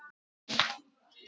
En ég er lítil.